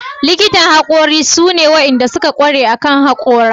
likitan hakori shine ne da suka ƙware akan haƙora.